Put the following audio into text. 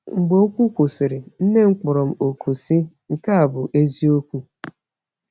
Mgbe okwu kwụsịrị, nne m kpọrọ òkù, sị: “Nke a bụ eziokwu!”